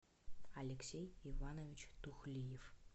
алексей иванович тухлиев